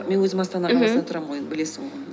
мен өзім астана қаласында тұрамын ғой енді білесің ғой